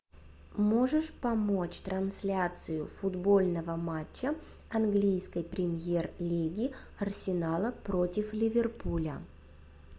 можешь помочь трансляцию футбольного матча английской премьер лиги арсенала против ливерпуля